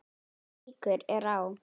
Minni líkur eru á